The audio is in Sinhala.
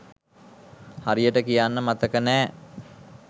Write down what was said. හරියට කියන්න මතක නෑ.